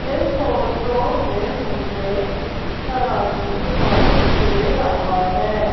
एक ऑटो में मुझे तराजू दिखाई दे रहा है।